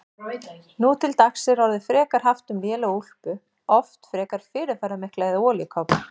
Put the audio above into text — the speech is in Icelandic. Nú til dags er orðið frekar haft um lélega úlpu, oft frekar fyrirferðarmikla, eða olíukápu.